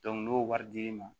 n'o wari dir'i ma